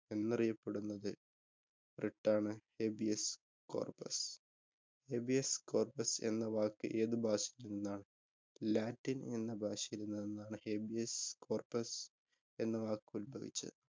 എന്നറിയപ്പെടുന്നത് writ ആണ് Habeas Corpus. Habeas Corpus എന്ന വാക്ക് ഏതു ഭാഷയില്‍ നിന്നാണ്, Latin എന്ന ഭാഷയില്‍ നിന്നാണ് Habeas Corpus എന്ന വാക്ക് ഉല്‍ഭവിച്ചത്.